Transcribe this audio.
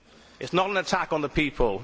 It is not an attack on the people.